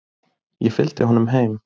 Ég fylgdi honum heim.